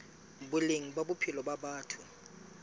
boleng ba bophelo ba batho